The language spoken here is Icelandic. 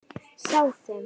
Hjá þeim.